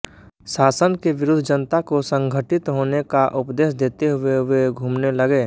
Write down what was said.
शासन के विरुद्ध जनता को संघटित होने का उपदेश देते हुए वे घूमने लगे